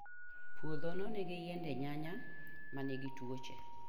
Puodhono nigi yiende nyanya ma nigi tuoche.